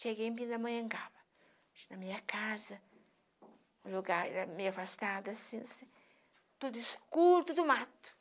Cheguei em Pindamonhangaba, na minha casa, um lugar meio afastado assim, tudo escuro, tudo mato.